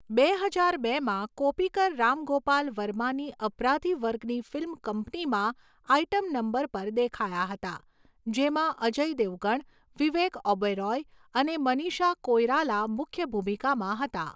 બે હજાર બેમાં, કોપીકર રામ ગોપાલ વર્માની અપરાધી વર્ગની ફિલ્મ કંપનીમાં આઇટમ નંબર પર દેખાયા હતા, જેમાં અજય દેવગણ, વિવેક ઓબેરોય અને મનીષા કોઈરાલા મુખ્ય ભૂમિકામાં હતા.